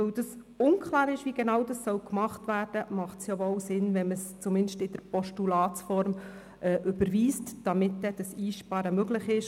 Weil zudem unklar ist, wie dies genau gemacht wird, macht es wohl Sinn, wenn man es zumindest in der Postulatsform überweist, damit dann das Einsparen möglich ist.